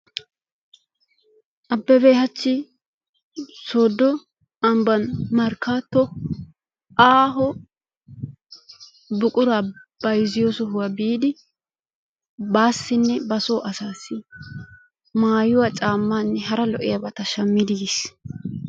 Abebe hachchi sooddo ambban markkaatto aaho buquraa bayizziyoo sohuwaa biidi baassine ba soo asaassi maayuwa caammaanne hara lo"iyaabata shammidi yiis.